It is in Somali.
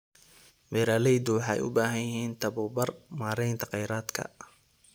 Beeraleydu waxay u baahan yihiin tabobar maareynta kheyraadka.